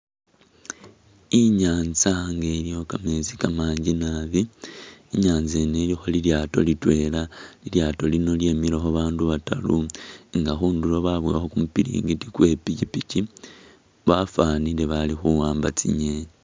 Inyanza nga ilikho kameetsi kamangi naabi, inyaza yino ilikho lilyaato litwela lilyaato lino lyemilekho babandu bataru nga khunduro babuwakho kumupiringiti kwe pikipiki bafanile bali khuwamba tsingeni.